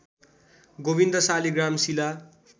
गोविन्द सालीग्राम शिला